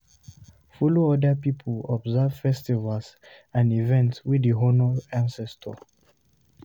Follow oda pipo observe festivals and events wey dey honor ancestor